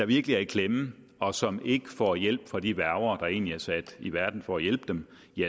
virkelig er i klemme og som ikke får hjælp fra de værger der egentlig er sat i verden for at hjælpe dem